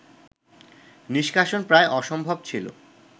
নিষ্কাশন প্রায় অসম্ভব ছিল